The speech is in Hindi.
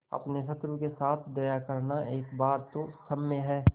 अपने शत्रु के साथ दया करना एक बार तो क्षम्य है